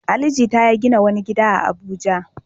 Ali Jita ya gina wani gida a Abuja.